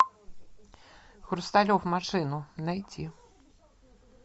хрусталев машину найти